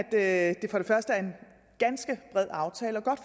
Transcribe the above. er en ganske bred aftale og godt